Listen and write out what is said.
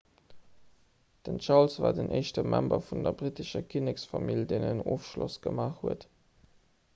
den charles war den éischte member vun der brittescher kinneksfamill deen en ofschloss gemaach huet